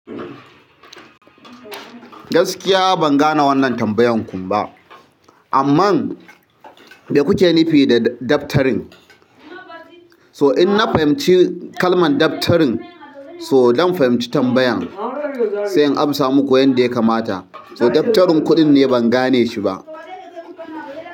Gaskiya ban gane wannan tambayan kun ba, amma da kuke nufi da daftarin? So in na fahimci kalman daftarin, so don fahimci tambayan, sai in amsa muku yanda ya kamata. So daftarin kuɗin ne ban gane shi ba.